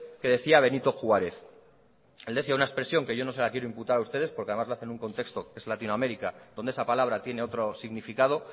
que decía benito juarez el decía una expresión que yo no se la quiero imputar a ustedes porque además lo hace en un contexto que es latinoamérica donde ese palabra tiene otro significado